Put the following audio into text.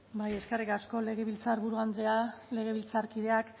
bai eskerrik asko legebiltzarburu andrea legebiltzarkideak